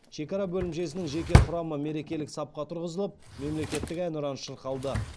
шекара бөлімшесінің жеке құрамы мерекелік сапқа тұрғызылып мемлекеттік әнұран шырқалды